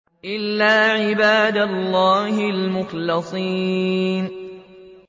إِلَّا عِبَادَ اللَّهِ الْمُخْلَصِينَ